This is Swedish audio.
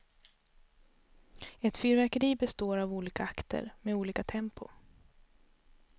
Ett fyrverkeri består av olika akter, med olika tempo.